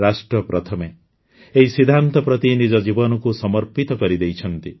ରାଷ୍ଟ୍ର ପ୍ରଥମେ ଏହି ସିଦ୍ଧାନ୍ତ ପ୍ରତି ନିଜ ଜୀବନକୁ ସମର୍ପିତ କରିଦେଇଛନ୍ତି